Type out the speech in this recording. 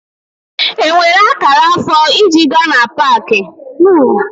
E nweela m akaụntụ na Peekọm.